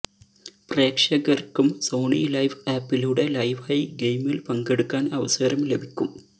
പ്രേക്ഷകര്ക്കും Sony LIV ആപ്പിലൂടെ ലൈവായി ഗെയിമില് പങ്കെടുക്കാന് അവസരം ലഭിക്കും